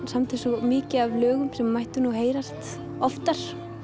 samdi svo mikið af lögum sem mættu nú heyrast oftar